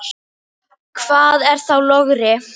Hvað er þá logri?